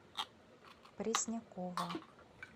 преснякова